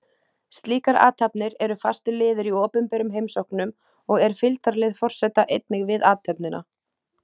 Slíkar athafnir eru fastur liður í opinberum heimsóknum og er fylgdarlið forseta einnig við athöfnina.